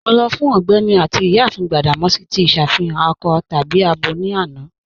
Mọ lọ fun Ọgbẹni àti Iyáàfin Gbadamosi tí iṣàfihàn akọ tàbí àbọ ni àná.